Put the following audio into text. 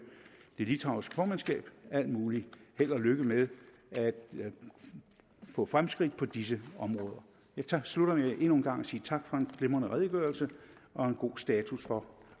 det litauiske formandskab al mulig held og lykke med at få fremskridt på disse områder jeg slutter med endnu en gang at sige tak for en glimrende redegørelse og en god status for